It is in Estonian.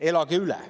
"Elage üle!